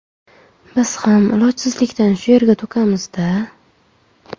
Biz ham ilojsizlikdan shu yerga to‘kamiz-da.